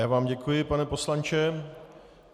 Já vám děkuji, pane poslanče.